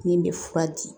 Min bɛ fura di